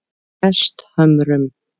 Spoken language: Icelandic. Hesthömrum